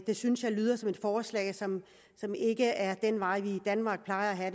det synes jeg lyder som et forslag som ikke er den vej vi i danmark plejer at